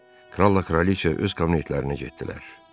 Kralla Kraliça öz kabinetlərinə getdilər.